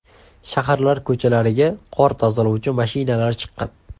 Shaharlar ko‘chalariga qor tozalovchi mashinalar chiqqan.